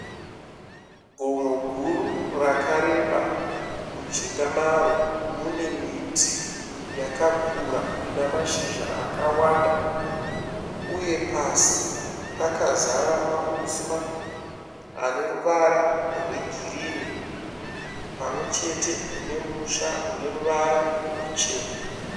Gomo guru rakareba. Mujinga maro mune miti yakakura ine mashizha akawanda, uye pasi pakazara mauswa aneruvara rwegirinhi pamwechete nemusha uneruvara rwuchena.